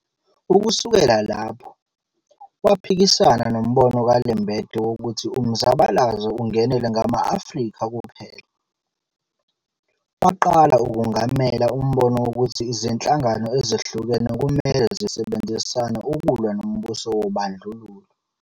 Ukusukela lapho, waphikisana nombono ka-Lembede wokuthi umzabalazo ungenelwe ngama-Afrika kuphela, waqala ukungamela umbono wokuthi izinhlangano ezehlukene kumele zisebenzisane ukulwa nombuso wobandlululo.